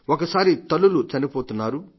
ఒకసారి తల్లులు చనిపోతున్నారు